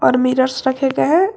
और मिरर्स रखे गए हैं।